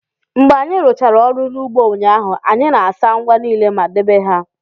Mgbe anyị rụchara ọrụ n'ugbo ụnyaahụ, anyị na-asa ngwa niile ma debe ha